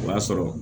O y'a sɔrɔ